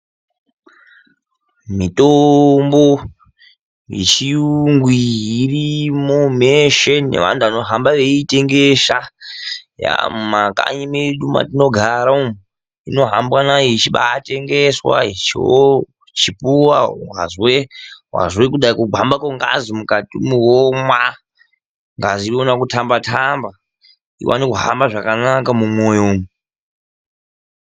Mitombo yechiyungu irimo meshe nevantu vanohamba veitengesa yaamo mumakanyi medu matogara. Ino hambwa nayo ichibatengeswa, ichipuwa wazwe kuda kugwamba kwengazi mukati imomo, omwa ngazi yoona kutamba tamba iwane kuhamba zvakanaka mumwoyo umo.